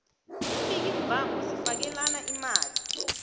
imbikimvango zifakelana imali